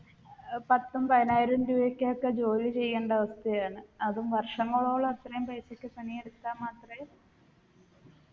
ഏർ പത്തും പതിനായിരവും രൂപയ്ക്കൊക്കെ ജോലി ചെയ്യണ്ടവസ്ഥയാണ് അതും വര്‍ഷങ്ങളോളം അത്രയും പൈസക്ക് പണി എടുത്താ മാത്രേ